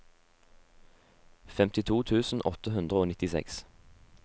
femtito tusen åtte hundre og nittiseks